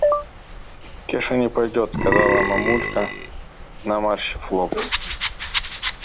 кеша не пойдёт сказала мамулька наморщив лоб